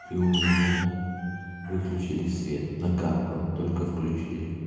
и у меня выключили свет накаркал только включили